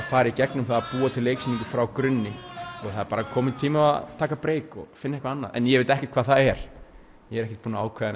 fara í gegnum það búa til leiksýningu frá Gunni það er bara kominn tími á að taka break og finna eitthvað annað en ég veit ekki hvað það er ég er ekki búinn að ákveða